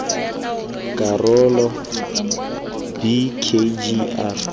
karolo b k g r